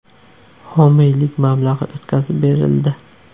Homiylik mablag‘i o‘tkazib berildi.